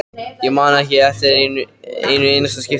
Ég man ekki eftir einu einasta skipti.